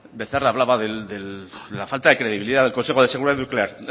becerra hablaba de la falta de credibilidad del consejo de seguridad nuclear